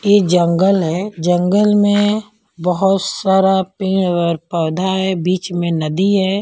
यह जंगल है जंगल में बहुत सारा पेड़ और पौधा है बीच में नदी है।